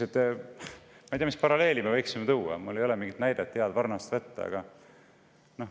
Ma ei tea, mis paralleeli me võiksime tuua, mul ei ole mingit head näidet varnast võtta.